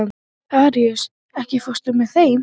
Aríus, ekki fórstu með þeim?